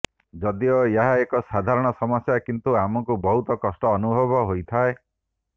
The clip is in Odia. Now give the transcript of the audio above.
ଯଦିଓ ଏହା ଏକ ସାଧାରଣ ସମସ୍ୟା କିନ୍ତୁ ଆମକୁ ବହୁତ କଷ୍ଟ ଅନୁଭବ ହୋଇଥାଏ